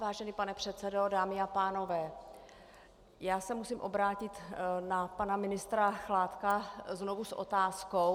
Vážený pane předsedo, dámy a pánové, já se musím obrátit na pana ministra Chládka znovu s otázkou.